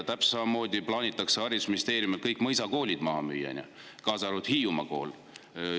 Täpselt samamoodi plaanitakse haridusministeeriumis kõik mõisakoolid maha müüa, kaasa arvatud Hiiumaa kool.